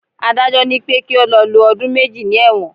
Adájọ́ ni pé kí ó lọ lo ọdún méjì ní ẹ̀wọ̀n.